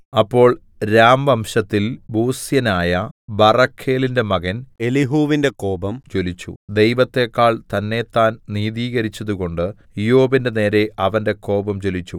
അപ്പോൾ രാംവംശത്തിൽ ബൂസ്യനായ ബറഖേലിന്റെ മകൻ എലീഹൂവിന്റെ കോപം ജ്വലിച്ചു ദൈവത്തേക്കാൾ തന്നേത്താൻ നീതീകരിച്ചതുകൊണ്ട് ഇയ്യോബിന്റെ നേരെ അവന്റെ കോപം ജ്വലിച്ചു